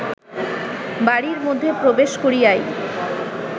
বাড়ীর মধ্যে প্রবেশ করিয়াই